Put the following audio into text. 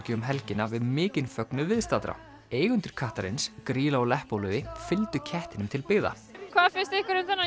um helgina við mikinn fögnuð viðstaddra eigendur kattarins Grýla og Leppalúði fylgdu kettinum til byggða hvað finnst ykkur um þennan